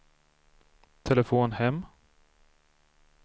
telefon hem